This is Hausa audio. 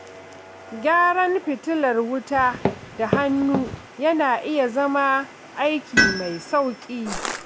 Gyaran fitilar wuta da hannu yana iya zama aiki mai sauƙi.